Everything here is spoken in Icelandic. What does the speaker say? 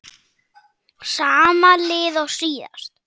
Sama lið og síðast?